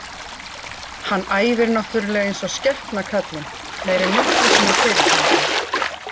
Hann æfir náttúrulega eins og skepna kallinn, meira en nokkru sinni fyrr held ég.